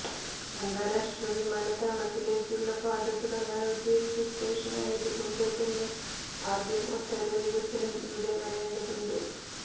അന്താരാഷ്ട്ര വിമാനത്താവളത്തിലേക്കുള്ള പാത തുടങ്ങാനുദ്ദേശിച്ച സ്റ്റേഷനായതു കൊണ്ട് തന്നെ ആദ്യം ഒട്ടേറെ വികസനം ഇവിടെ വരേണ്ടതുണ്ട്